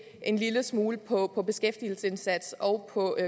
en lille smule på på beskæftigelsesindsats og på